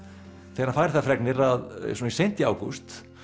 þegar hann fær þær fregnir svona seint í ágúst